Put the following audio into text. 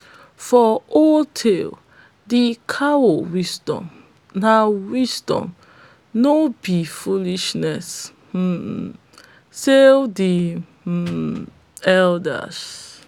for old tales de cow wisdom na wisdom no be foolishness um say de um elders